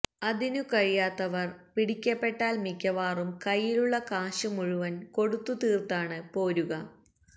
അതിനു കഴിയാത്തവര് പിടിക്കപ്പെട്ടാല് മിക്കവാറും കയ്യിലുള്ള കാശു മുഴുവന് കൊടുത്തുതീർത്താണ് പോരുക